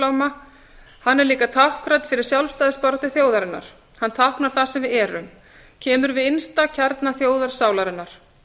himinbláma hann er líka táknrænn fyrir sjálfstæðisbaráttu þjóðarinnar hann táknar það sem við erum kemur við innsta kjarna þjóðarsálarinnar